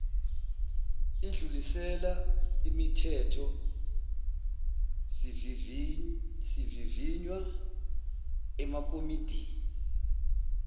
idlulisela imithethosivivinywa emakomidini